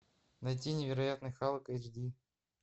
найти невероятный халк эйч ди